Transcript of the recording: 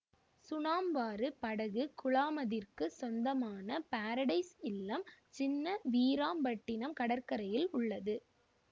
சுணாம்பாறு படகு குழாமதிற்கு சொந்தமான பேரடைஸ் இல்லம் சின்ன வீராம்பட்டினம் கடற்கரையில் உள்ளது